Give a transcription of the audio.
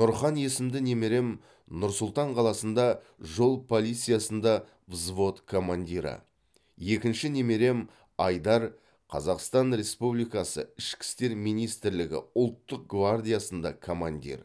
нұрхан есімді немерем нұр сұлтан қаласында жол полициясында взвод командирі екінші немерем айдар қазақстан республикасы ішкі істер министірлігі ұлттық гвардиясында командир